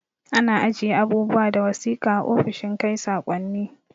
Ana ajiye abubuwa da wasiƙa a ofishin kai sakonni